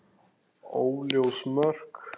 Óljós mörk.